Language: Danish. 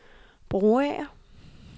Broager